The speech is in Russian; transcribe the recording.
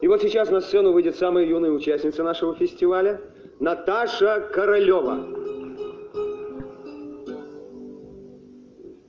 но сейчас на сцену выйдет самая юная участница нашего фестиваля наташа королёва